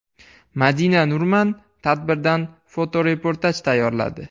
Madina Nurman tadbirdan fotoreportaj tayyorladi.